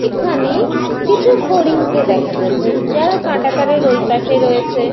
এখানে কিছু হরিণকে দেখা যাচ্ছে। যারা কাটা তারের ওইপাশে রয়েছে।